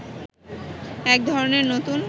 এক ধরনের নতুন